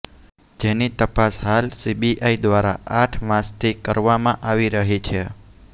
જેની તપાસ હાલ સીબીઆઈ દ્વારા આઠ માસ થી કરવામાં આવી રહી છે